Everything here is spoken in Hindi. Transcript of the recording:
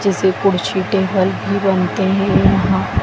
जिसे कुर्सी टेबल भी बनते है यहां।